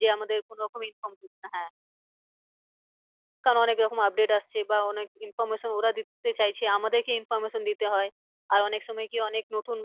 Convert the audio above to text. যে আমাদের কোনো রকম inform হ্যাঁ কারণ অনেক রকম update আসছে বা অনেক information ওরা দিতে চাইছে আমাদেরকে information দিতে হয়। আর অনেক সময় কি অনেক নতুন